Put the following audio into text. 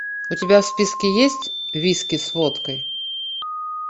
у тебя в списке есть виски с водкой